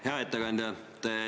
Hea ettekandja!